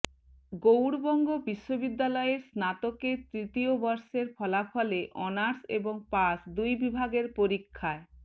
গৌড়বঙ্গ বিশ্ববিদ্যালয়ের স্নাতকের তৃতীয় বর্ষের ফলাফলে অনার্স এবং পাশ দুই বিভাগের পরীক্ষায়